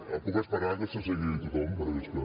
em puc esperar que s’assegui tothom perquè és que